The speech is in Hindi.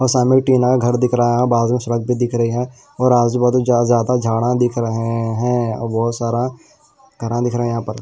और सामने एक टीना का घर दिख रहा है बाजू एक सड़क भी दिख रही है और आजू बाजू ज्यादा झाड़ें दिख रहे हैं और बहुत सारा दिख रहे है यहां पर --